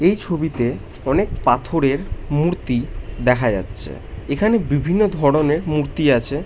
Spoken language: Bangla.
এই ছবিতে অনেক পাথর এর মূর্তি দেখা যাচ্ছে এখানে বিভিন্ন ধরণের মূর্তি আছে।